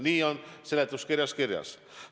Nii on seletuskirjas kirjas.